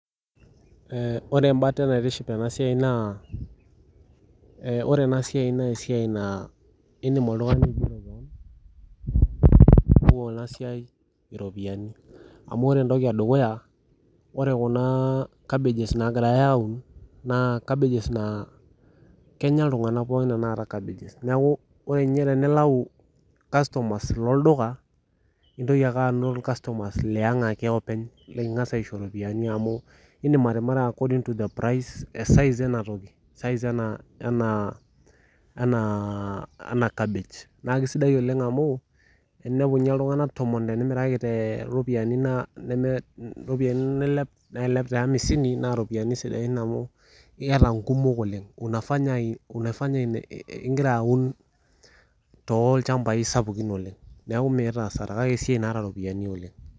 Ore embate naitiship ena siai naa ore ena siai naa esiai naa edim oltung'ani aigero kewang amu ore Kuna cabbages nagirai awun naa Kenya iltung'ana pookin tanakata cabbages neeku ore tenilau irkastomas loolduka naa neitoki ake atum irkastomas Liang ake openy likingas aiso ropiani amu edim atimira according to the size ena cabbage naa kisidai oleng amu teninepu ninye iltung'ana tomon tenimiraki too ropiani nailep tee amisini naa eropiani sidain amuu keeta kumok oleng amu egira aun tolchambai sapukin oleng neeku Miata hasara neeku esiai naata eropiani oleng